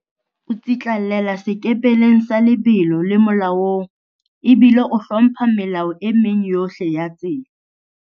O tsitlallela sekepeleng sa lebelo le molaong ebile o hlompha melao e meng yohle ya tsela.